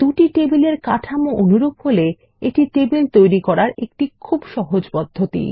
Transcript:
দুটি টেবিলের কাঠামো অনুরূপ হলে এটি টেবিল তৈরি করার একটি খুব সহজ পদ্ধতি